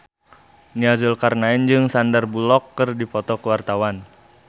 Nia Zulkarnaen jeung Sandar Bullock keur dipoto ku wartawan